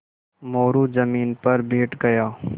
मोरू ज़मीन पर बैठ गया